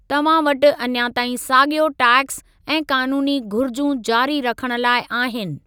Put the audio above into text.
तव्हां वटि अञा ताईं साॻियो टैक्स ऐं क़ानूनी घुरिजूं जारी रखणु लाइ आहिनि।